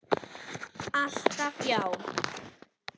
Alltaf já.